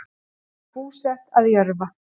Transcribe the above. Hún var búsett að Jörfa